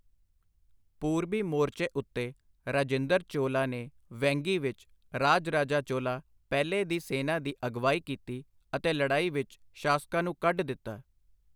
ਪੂਰਬੀ ਮੋਰਚੇ ਉੱਤੇ, ਰਾਜਿੰਦਰ ਚੋਲਾ ਨੇ ਵੈਂਗੀ ਵਿੱਚ ਰਾਜ-ਰਾਜਾ ਚੋਲਾ ਪਹਿਲੇ ਦੀ ਸੈਨਾ ਦੀ ਅਗਵਾਈ ਕੀਤੀ ਅਤੇ ਲੜਾਈ ਵਿੱਚ ਸ਼ਾਸਕਾਂ ਨੂੰ ਕੱਢ ਦਿੱਤਾ।